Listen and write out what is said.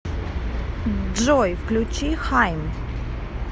джой включи хайм